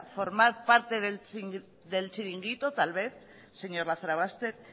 formar parte del chiringuito tal vez señor lazarobaster